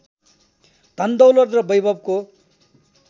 धनदौलत र वैभवको